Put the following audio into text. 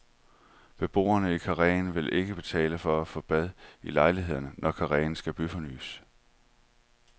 Beboerne i karreen vil ikke betale for at få bad i lejlighederne, når karreen skal byfornyes.